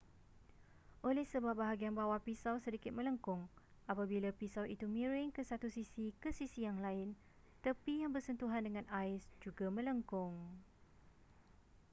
oleh sebab bahagian bawah pisau sedikit melengkung apabila pisau itu miring ke satu sisi ke sisi yang lain tepi yang bersentuhan dengan ais juga melengkung